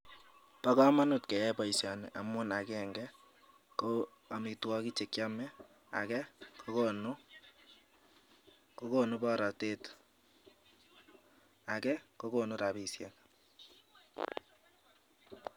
Bo kamanut keyai boisioni amun agenge ko amitwogik chekyome, age kokonu borotet age kokonu repisiek.